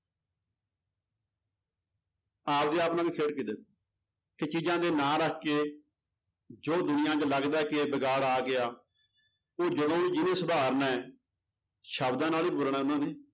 ਆਪਦੇ ਆਪ ਨਾਲ ਵੀ ਖੇਡਕੇ ਦੇਖੋ ਕਿ ਚੀਜ਼ਾਂ ਦੇ ਨਾਂ ਰੱਖ ਕੇ ਜੋ ਦੁਨੀਆਂ 'ਚ ਲੱਗਦਾ ਹੈ ਕਿ ਇਹ ਵਿਗਾੜ ਆ ਗਿਆ. ਉਹ ਜਦੋਂ ਵੀ ਜਿਹਨੇ ਸੁਧਾਰਨਾ ਹੈ ਸ਼ਬਦਾਂ ਨਾਲ ਹੀ ਬੋਲਣਾ ਉਹਨਾਂ ਨੇ